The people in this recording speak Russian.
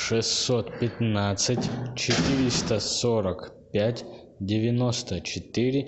шестьсот пятнадцать четыреста сорок пять девяносто четыре